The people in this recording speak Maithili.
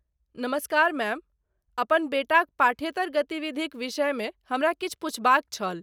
नमस्कार, मैम, अपन बेटाक पाठ्येतर गतिविधिक विषयमे हमरा किछु पुछबाक छल।